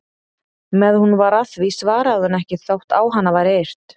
Meðan hún var að því svaraði hún ekki þótt á hana væri yrt.